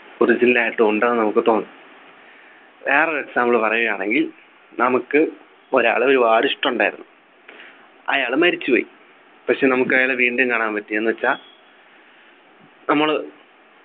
Original ആയിട്ടുണ്ടെന്ന് നമുക്ക് തോന്നും വേറൊരു example പറയുകയാണെങ്കിൽ നമുക്ക് ഒരാളെ ഒരുപാട് ഇഷ്ടുണ്ടായിരുന്നു അയാൾ മരിച്ചുപോയി പക്ഷേ നമുക്ക് അയാളെ വീണ്ടും കാണാൻ പറ്റിയെന്ന് വെച്ചാ നമ്മള്